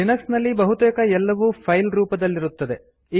Linux ನಲ್ಲಿ ಬಹುತೇಕ ಎಲ್ಲವೂ ಫೈಲ್ ರೂಪದಲ್ಲಿರುತ್ತದೆ